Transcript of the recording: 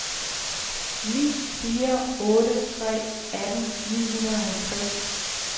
ni fire otte tre atten ni hundrede og halvtreds